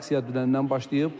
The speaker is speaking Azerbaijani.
və aksiya dünəndən başlayıb.